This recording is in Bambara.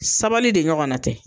Sabali de ɲɔgɔnna tɛ.